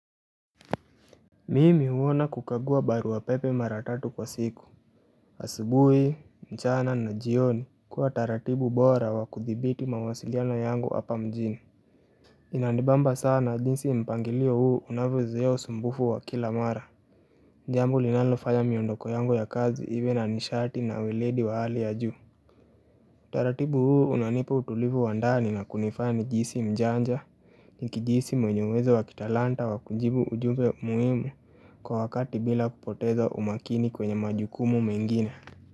Mimi huona kukagua baruapepe mara tatu kwa siku asubuhi, mchana na jioni kuwa taratibu bora wa kuthibiti mawasiliano yangu hapa mjini Inanibamba sana jinsi mpangilio huu unavyozuia usumbufu wa kila mara jambo linalofanya miondoko yangu ya kazi iwe na nishati na weledi wa hali ya juu uTaratibu huu unanipa utulivu wa ndani na kunifanya nijihisi mjanja Nikijihisi mwenye uwezo wa kitalanta wakujibu ujumbe muhimu kwa wakati bila kupoteza umakini kwenye majukumu mengine.